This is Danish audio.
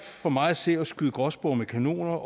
for mig at se at skyde gråspurve med kanoner